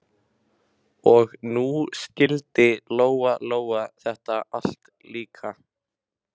Og nú skildi Lóa-Lóa þetta allt líka.